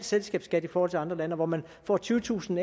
selskabsskat i forhold til andre lande og hvor man får tyvetusind